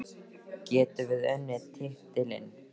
Getum við unnið titilinn?